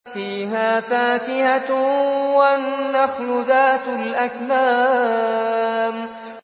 فِيهَا فَاكِهَةٌ وَالنَّخْلُ ذَاتُ الْأَكْمَامِ